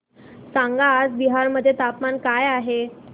सांगा आज बिहार मध्ये तापमान काय आहे